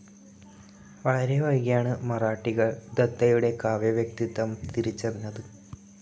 വളരെ വൈകിയാണ് മറാഠികൾ ദത്തയുടെ കാവ്യ വ്യക്തിത്വം തിരിച്ചറിഞ്ഞത്.